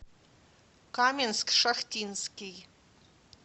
каменск шахтинский